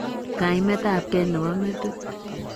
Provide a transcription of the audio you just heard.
kaimetab gei ne bo metit.